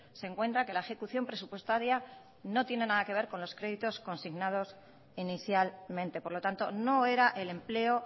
se encuentra que la ejecución presupuestaria no tiene nada que ver con los créditos consignados inicialmente por lo tanto no era el empleo